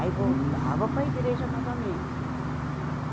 Aí voltava para a igreja novamente.